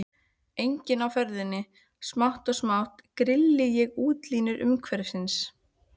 Enginn á ferli, smátt og smátt grilli ég útlínur umhverfisins.